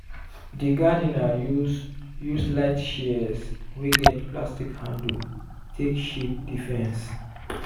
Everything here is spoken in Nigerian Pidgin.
di gardener use use light shears wey get plastic handle take shape di fence.